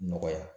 Nɔgɔya